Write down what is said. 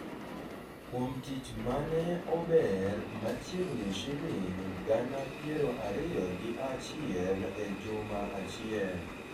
kuom tich mane ober machiegni shiling gana piero ariyo gi achiel e juma achiel